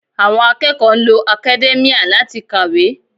Àwọn akẹ́kọ̀ọ́ ń lo academia láti kàwé